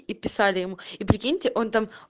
и писали ему и прикиньте он там